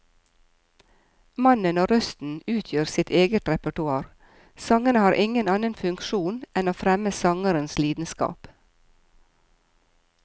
Mannen og røsten utgjør sitt eget repertoar, sangene har ingen annen funksjon enn å fremme sangerens lidenskap.